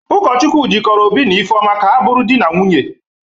Ụkọchukwu jịkọrọ Obi na Ifeọma ka ha bụrụ di na nwunye.